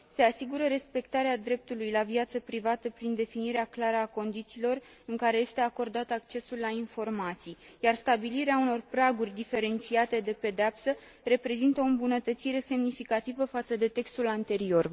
Se asigură respectarea dreptului la viață privată prin definirea clară a condițiilor în care este acordat accesul la informații, iar stabilirea unor praguri diferențiate de pedeapsă reprezintă o îmbunătățire semnificativă față de textul anterior.